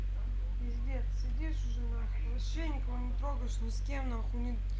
пиздец сидишь уже нахуй вообще никого не трогаешь не с кем нахуй не